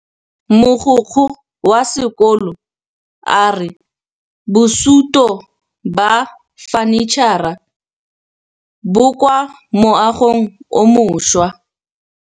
Mogokgo wa sekolo a re bosutô ba fanitšhara bo kwa moagong o mošwa.